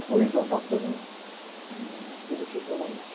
Mas com isso eu acabo sendo, eh, demitido novamente.